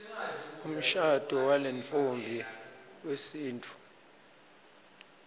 umshado walentfombi wesintfu